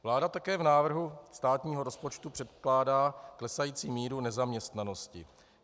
Vláda také v návrhu státního rozpočtu předpokládá klesající míru nezaměstnanosti.